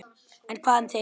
En hvað um þig?